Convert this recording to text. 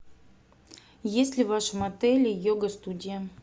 есть ли в вашем отеле йога студия